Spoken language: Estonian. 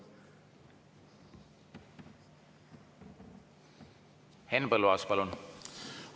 Henn Põlluaas, palun!